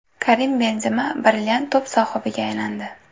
Karim Benzema brilliant to‘p sohibiga aylandi.